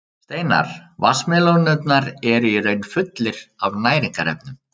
Steinar vatnsmelónunnar eru í raun fullir af næringarefnum.